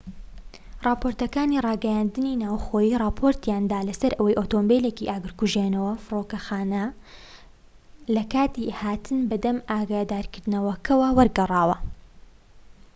راپۆرتەکانی راگەیاندنی ناوخۆیی راپۆرتیان دا لەسەر ئەوەی ئۆتۆمبیلێکی ئاگرکوژێنەوەی فرۆکەخانە لەکاتی هاتن بە دەم ئاگادارکردنەوەکەوە وەرگەڕاوە